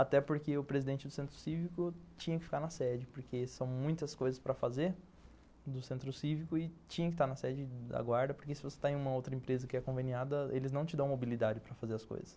Até porque o presidente do Centro Cívico tinha que ficar na sede, porque são muitas coisas para fazer do Centro Cívico e tinha que estar na sede da guarda, porque se você está em uma outra empresa que é conveniada, eles não te dão mobilidade para fazer as coisas.